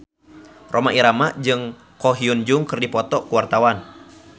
Rhoma Irama jeung Ko Hyun Jung keur dipoto ku wartawan